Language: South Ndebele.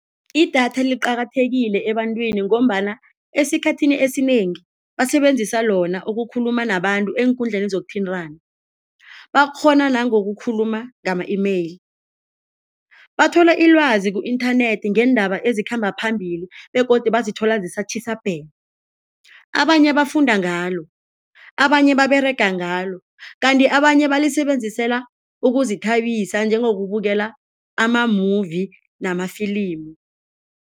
Idatha liqakathekile ebantwini ngombana esikhathini esinengi basebenzisa lona ukukhuluma nabantu eenkundleni zokuthintana, bakghona nangokukhuluma ngama-email, bathola ilwazi ku-internet ngeendaba ezikhamba phambili begodu bazithola zisatjhisa bhe, abanye bafunda ngalo, abanye baberega ngalo kanti abanye balisebenzisela ukuzithabisa njengokubukela ama-movie namafilimu.